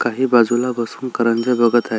काही बाजूला बसून करंज्या बघत आहे.